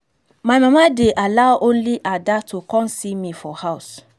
my mama dey allow only ada to come see me for house